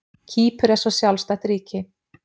Kýpur er svo sjálfstætt ríki.